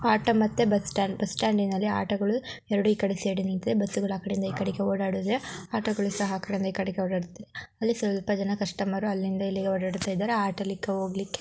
Auto ಮತ್ತೆ bus stand ಬಸ್ಟ್ಯಾಂಡಿನಲ್ಲಿ auto ಗಳು ಎರಡು ಇಕಡೆ ಸೈಡಿ ಗೆ ನಿಂತಿದೆ ಬಸ್ಸುಗಳು ಆ ಕಡೆಯಿಂದ ಇಕಡೆಕ್ಕೆ ಹೋಡಾಡುತ್ತಿವೆ ಆಟೋ ಗಳು ಸಹ ಆಕಡೆಯಿಂದ ಇಕಡಕ್ಕೆ ಹೋಡಾಡುತ್ತಿವೆ ಅಲ್ಲಿ ಸ್ವಲ್ಪ ಜನ ಕಸ್ಟಮರ್ ಅಲ್ಲಿಂದ ಇಲ್ಲಿಗೆ ಹೋದಾಡುತ್ತಿದ್ದಾರೆ ಆಟೋ ಲಿಕ್ಕೆ ಹೋಗ್ಲಿಕ್ಕೆ.